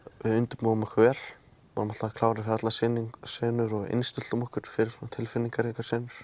við undirbjóum okkur vel vorum alltaf klárir fyrir allar senur og innstilltum okkur fyrir svona tilfinningaríkar senur